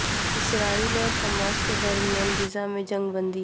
اسرائیل اور حماس کے درمیان غزہ میں جنگ بندی